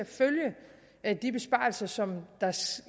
at følge de besparelser som